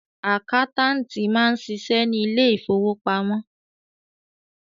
Àkáńtáàtì máa ń ṣiṣẹ́ ní ilé ìfowópamọ́.